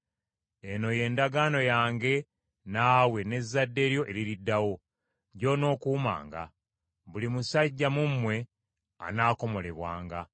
Eno y’endagaano yange naawe n’ezzadde lyo eririddawo, gy’onookuumanga: Buli musajja mu mmwe anaakomolebwanga.